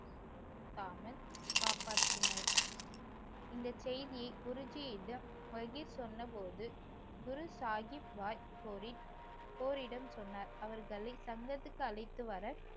அவமானபடுத்தாமல் காப்பற்றினார். இந்த செய்தியை குருஜீயிடம் பகீர் சொன்னபோது குரு சாஹீப் பாய் கோரிடம் சொன்னார் அவரிடம் தங்களுக்கு அழைத்து வர